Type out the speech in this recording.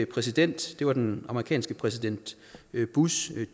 præsident det var den amerikanske præsident bush